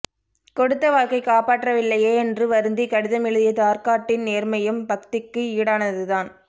கொடுத்த வாக்கை காப்பாற்றவில்லையே என்று வருந்தி கடிதம் எழுதிய தார்க்காட்டின் நேர்மையும் பக்திக்கு ஈடானது தான்